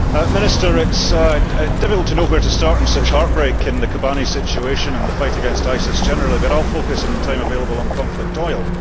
Minister, it is difficult to know where to start in such heartbreak in the Kobane situation and the fight against ISIS generally, but I will focus in the time available on conflict oil.